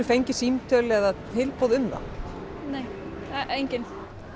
fengið símtöl eða tilboð um það nei engin